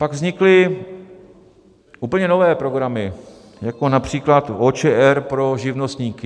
Pak vznikly úplně nové programy jako například OČR pro živnostníky.